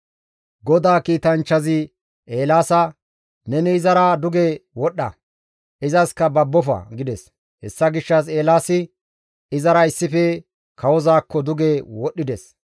GODAA kiitanchchazi Eelaasa, «Neni izara duge wodhdha; izaskka babbofa!» gides. Hessa gishshas Eelaasi izara issife kawozaakko duge wodhdhides.